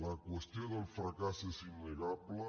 la qüestió del fracàs és innegable